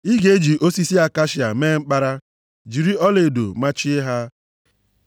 Ị ga-eji osisi akashia mee mkpara, jiri ọlaedo machie ha.